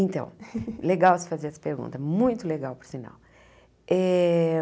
Então, legal você fazer essa pergunta, muito legal, por sinal. Eh